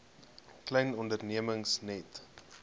klein ondernemings net